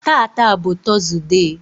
tata bụ tọzụdee.